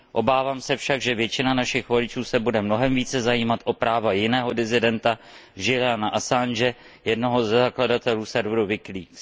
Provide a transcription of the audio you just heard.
Obávám se však, že většina našich voličů se bude mnohem více zajímat o práva jiného disidenta Juliana Assange, jednoho ze zakladatelů serveru WikiLeaks.